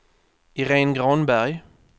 Iréne Granberg